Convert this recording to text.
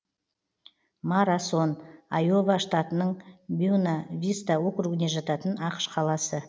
марасон айова штатының бьюна виста округіне жататын ақш қаласы